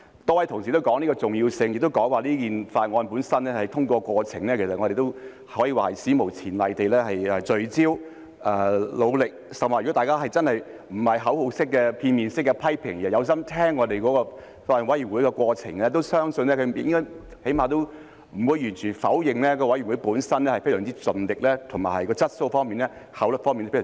多位同事也說到法案的重要性，亦說在這項法案的審議過程中，議員可以說是史無前例地聚焦、努力，甚或如果大家真的不是口號式、片面式的批評，而是用心聆聽法案委員會審議的過程，相信起碼也應該不會完全否認法案委員會本身非常盡力，以及處理問題時的質素和效率都非常高。